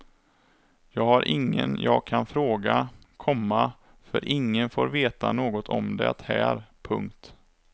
Jag har ingen jag kan fråga, komma för ingen får veta något om det här. punkt